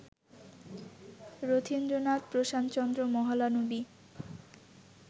Rathindranath, Prasanta Chandra Mahalanobis